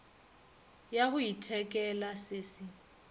ya go ithekela se se